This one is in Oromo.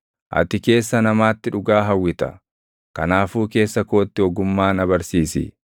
Ati keessa namaatti dhugaa hawwita; kanaafuu keessa kootti ogummaa na barsiisi.